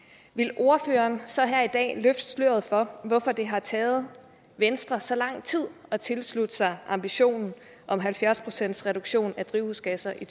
vil ordføreren så her i dag løfte sløret for hvorfor det har taget venstre så lang tid at tilslutte sig ambitionen om halvfjerds procent reduktion af drivhusgasser i